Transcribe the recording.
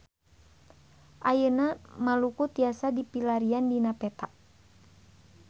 Ayeuna Maluku tiasa dipilarian dina peta